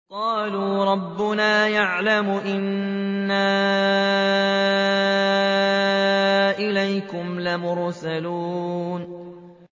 قَالُوا رَبُّنَا يَعْلَمُ إِنَّا إِلَيْكُمْ لَمُرْسَلُونَ